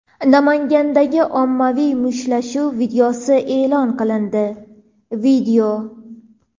Namangandagi ommaviy mushtlashuv videosi e’lon qilindi.